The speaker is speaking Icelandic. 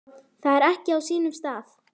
Það er ekki á sínum stað.